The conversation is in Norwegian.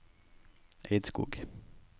Eidskog